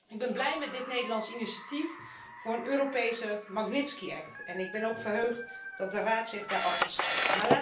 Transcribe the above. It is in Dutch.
Ik ben blij met dit Nederlandse initiatief voor een Europese Magnitsky wet, en ik ben ook verheugd dat de Raad zich daarachter schaart.